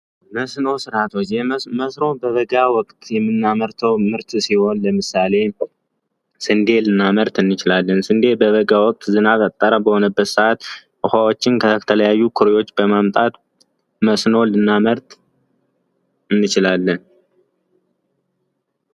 የመስኖ ስርዓት መስኖ በበጋ ወቅት የምናመርተው ምርት ሲሆን ለምሳሌ ስንዴ ልናመርት እንችላለን። ስንዴ በበጋ ወቅት ዝናብ ያጠረ በሆነበት ስዓት ውሃዎችን ከተለያዩ ኩሬዎች በማምጣት መስኖ ልናመርት እንችላለን።